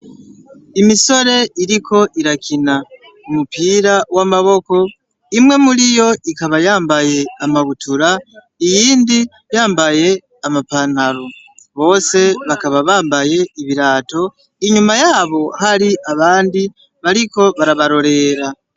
Imisore iriko irakina umupira w'amaboko, imwe muriyo ikaba yambaye amabutura, iyindi yambaye ama pantaro. Bose bakaba bambaye ibirato, inyuma yabo hari abandi bariko barabarorera.